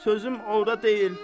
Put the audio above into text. Sözüm orada deyil.